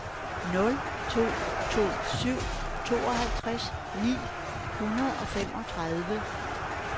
nul to to syv tooghalvtreds ni hundrede og femogtredive